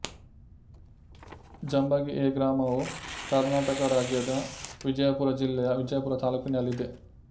Jambagi A ಗ್ರಾಮವು ಕರ್ನಾಟಕ ರಾಜ್ಯದ ವಿಜಯಪುರ ಜಿಲ್ಲೆಯ ವಿಜಯಪುರ ತಾಲ್ಲೂಕಿನಲ್ಲಿದೆ